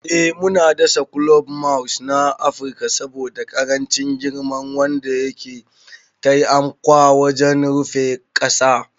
Ee muna dasa kulob Moss na Afirka saboda ƙarancin girma wanda yake taiamkwa wajen rufe ƙasa.